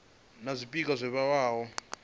na zwpikwa zwo vhewaho zwa